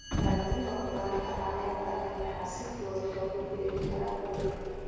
Dalagyada khudaarta caleenta leh waxaa si fudud loogu beeri karaa guriga.